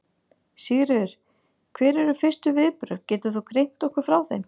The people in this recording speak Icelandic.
Sigríður: Hver eru fyrstu viðbrögð, getur þú greint okkur frá þeim?